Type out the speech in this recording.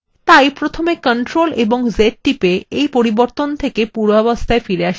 তাই প্রথমে ctrl + Z টিপে এই পরিবর্তনটি পূর্বাবস্থায় ফেরাতে হবে